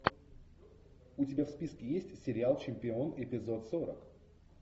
у тебя в списке есть сериал чемпион эпизод сорок